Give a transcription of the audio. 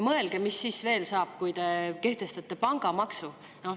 Mõelge, mis siis veel saab, kui te kehtestate pangamaksu.